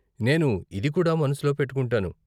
నేను ఇది కూడా మనసులో పెట్టుకుంటాను.